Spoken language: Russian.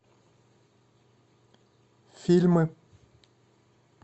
фильмы